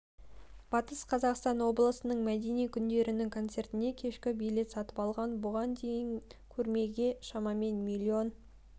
батыс қазақстан облысының мәдени күндерінің концертіне кешкі билет сатып алған бұған дейін көрмеге шамамен миллион